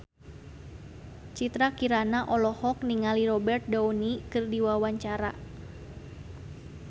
Citra Kirana olohok ningali Robert Downey keur diwawancara